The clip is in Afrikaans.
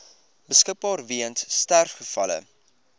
beskikbaar weens sterfgevalle